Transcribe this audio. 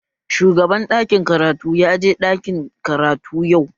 Shugaban ɗakin karatu ya je ɗakin karatu yau